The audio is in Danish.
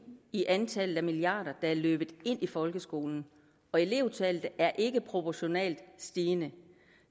i antallet af milliarder der er løbet ind i folkeskolen og elevtallet er ikke proportionalt stigende